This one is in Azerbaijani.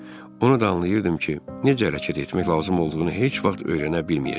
Onu da anlayırdım ki, necə hərəkət etmək lazım olduğunu heç vaxt öyrənə bilməyəcəm.